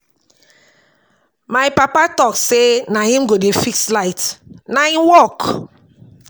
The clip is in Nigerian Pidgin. My papa tok say na him go dey fix light, na im work.